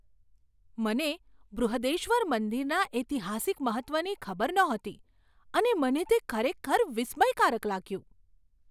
મને બૃહદેશ્વર મંદિરના ઐતિહાસિક મહત્ત્વની ખબર નહોતી અને મને તે ખરેખર વિસ્મયકારક લાગ્યું.